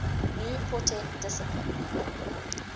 new quartet discipline